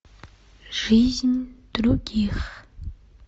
жизнь других